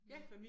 Ja